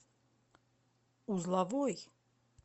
узловой